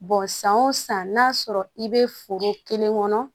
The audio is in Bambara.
san o san n'a sɔrɔ i bɛ foro kelen kɔnɔ